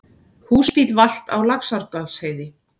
Húsbíll valt á Laxárdalsheiði